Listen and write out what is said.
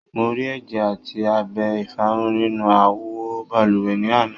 Mo rí ẹjẹ àti abẹ ìfárun nínú awo balùwẹ̀ ní àná.